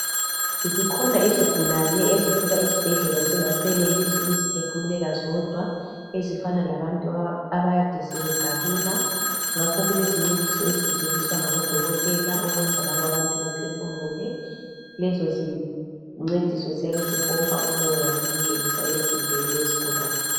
Zikhona izigulane ezifika esibhedlela zingasenelisi ukuzi phefumulela zodwa ezifana labantu ade sebegalula ngakho kukezincediso ezisetshenziswa ngabodokotela ukwenza labobantu bephefumule lezo zincediso ziyabe zipompa umoya ziwungenisa emzimbeni wesigulane.